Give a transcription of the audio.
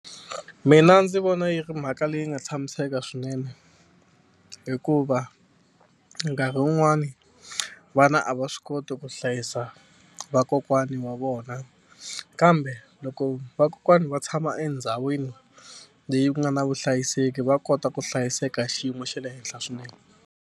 Mina ndzi vona yi ri mhaka leyi nga tshamiseka swinene hikuva nkarhi wun'wani vana a va swi koti ku hlayisa vakokwana wa vona kambe loko vakokwani va tshama endhawini leyi ku nga na vuhlayiseki va kota ku hlayiseka xiyimo xa le henhla swinene.